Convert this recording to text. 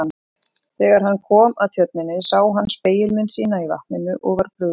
Þegar hann kom að tjörninni sá hann spegilmynd sína í vatninu og var brugðið.